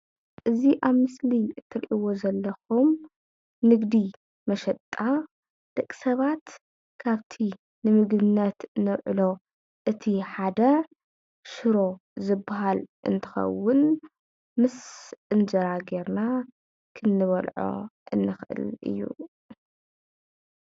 እዚ ኣብ ምስሊ እትሪእዎ ዘለኩም ንግዲ መሸጣ ደቂ ሰባት ካብቲ ንምግብነት ነውዕሎ እቲ ሓደ ሽሮ ዝባሃል እንትከውን ምስ እንጀራ ጌርና ክንበልዖ እንክእል እዩ።